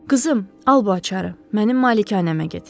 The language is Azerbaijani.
Qızım, al bu açarı, mənim malikanəmə get.